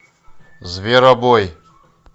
зверобой